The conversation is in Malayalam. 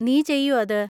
നീ ചെയ്യോ അത്?